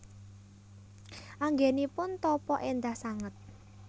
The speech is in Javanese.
Anggenipun tapa endah sanget